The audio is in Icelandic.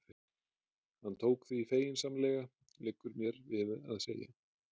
Hann tók því feginsamlega, liggur mér við að segja.